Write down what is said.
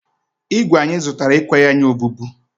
ígwè anyị zụtara ekweghi anyị obubu